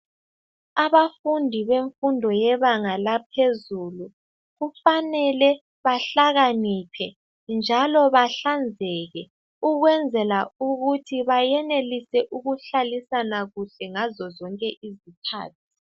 Abafundi bemfundo yebanga laphezulu kufanele bahlakaniphe njalo bahlanzeke ukwenzela ukuthi bayenelise ukuhlalisana kuhle ngazo zonke izikhathi.